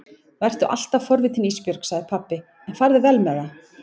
Vertu alltaf forvitin Ísbjörg, sagði pabbi, en farðu vel með það.